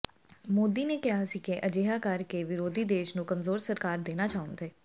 ਮੋਦੀ ਨੇ ਕਿਹਾ ਸੀ ਕਿ ਅਜਿਹਾ ਕਰ ਕੇ ਵਿਰੋਧੀ ਦੇਸ਼ ਨੂੰ ਕਮਜ਼ੋਰ ਸਰਕਾਰ ਦੇਣਾ ਚਾਹੁੰਦ